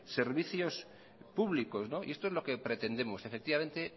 servicios públicos y esto es lo que pretendemos efectivamente